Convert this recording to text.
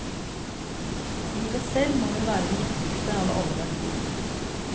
Livet sjølv må vel vere den viktigste av alle verdiar.